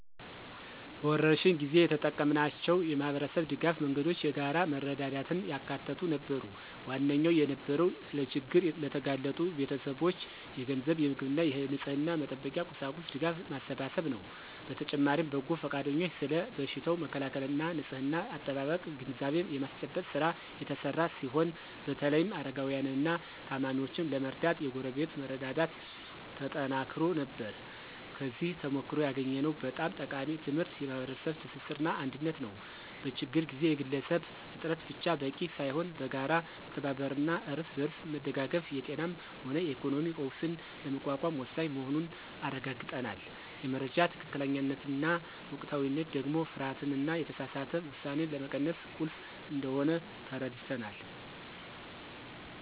በወረርሽኝ ጊዜ የተጠቀምናቸው የማኅበረሰብ ድጋፍ መንገዶች የጋራ መረዳዳትን ያካተቱ ነበሩ። ዋነኛው የነበረው ለችግር ለተጋለጡ ቤተሰቦች የገንዘብ፣ የምግብና የንጽሕና መጠበቂያ ቁሳቁስ ድጋፍ ማሰባሰብ ነው። በተጨማሪም በጎ ፈቃደኞች ስለ በሽታው መከላከልና ንጽሕና አጠባበቅ ግንዛቤ የማስጨበጥ ሥራ የተሰራ ሲሆን በተለይም አረጋውያንንና ታማሚዎችን ለመርዳት የጎረቤት መረዳዳት ተጠናክሮ ነበር። ከዚህ ተሞክሮ ያገኘነው በጣም ጠቃሚ ትምህርት የማኅበረሰብ ትስስርና አንድነት ነው። በችግር ጊዜ የግለሰብ ጥረት ብቻ በቂ ሳይሆን በጋራ መተባበርና እርስ በርስ መደጋገፍ የጤናም ሆነ የኢኮኖሚ ቀውስን ለመቋቋም ወሳኝ መሆኑን አረጋግጠናል። የመረጃ ትክክለኛነትና ወቅታዊነት ደግሞ ፍርሃትንና የተሳሳተ ውሳኔን ለመቀነስ ቁልፍ እንደሆነ ተረድተናል።